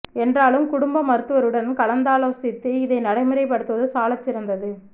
என்றாலும் குடும்ப மருத்துவருடன் கலந்தாலோசித்து இதை நடைமுறைப்படுத்துவது சாலச் சிறந்தது